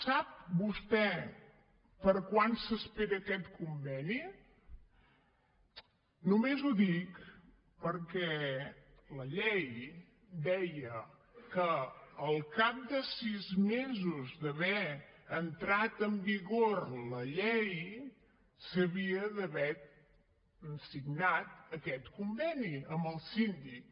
sap vostè per a quan s’espera aquest conveni només ho dic perquè la llei deia que al cap de sis mesos d’haver entrat en vigor la llei s’havia d’haver signat aquest conveni amb el síndic